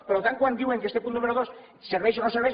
per tant quan diuen que este punt número dos serveix o no serveix